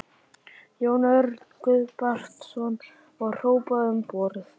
Jón Örn Guðbjartsson: Var hrópað um borð?